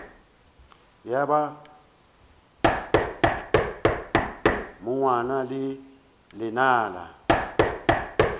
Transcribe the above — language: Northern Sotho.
ya ba monwana le lenala